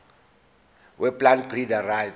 weplant breeders rights